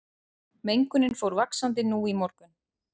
Mengunin fór vaxandi nú í morgun